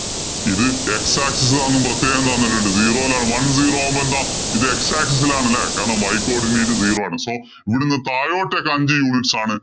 ഇത് x axis ആണെന്ന് പ്രത്യേകം തന്നിട്ടുണ്ട്. zero യിലാണ്. One zero ആവുമ്പോ എന്താ ഇത് x axis ഇലാണ് അല്ലേ. കാരണം y coodinate zero ആണ്. So ഇവിടുന്നു താഴോട്ടേക്ക് അഞ്ചു units ആണ്. So